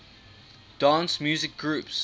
dance music groups